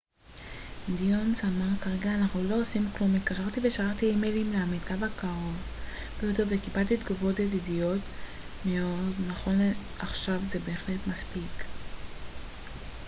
דניוס אמר כרגע אנחנו לא עושים כלום התקשרתי ושלחתי אימיילים לעמיתו הקרוב ביותר וקיבלתי תגובות ידידותיות מאוד נכון לעכשיו זה בהחלט מספיק